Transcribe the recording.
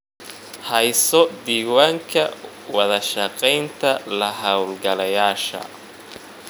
Hayso diiwaanka wada shaqaynta la-hawlgalayaasha.